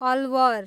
Alwar